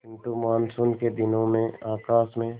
किंतु मानसून के दिनों में आकाश में